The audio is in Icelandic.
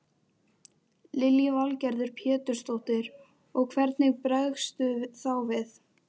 Lillý Valgerður Pétursdóttir: Og hvernig bregstu þá við?